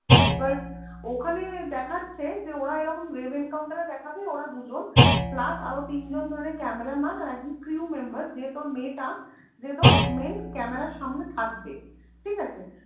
এবার ওখানে দেখাচ্ছে যে ওরা এরকম রেভেন counter এ দেখাবে ওরা দুজন, plus আরও তিনজন ধরে cameraman আর একজন crew member যে তোর মেয়েটা যে তোর main camera এর সামনে থাকবে ঠিক আছে